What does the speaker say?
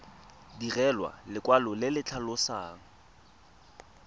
direlwa lekwalo le le tlhalosang